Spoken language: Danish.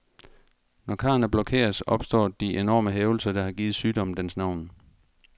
Når karrene blokeres, opstår de enorme hævelser, der har givet sygdommen dens navn.